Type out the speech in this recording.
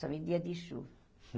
Só em dia de chuva.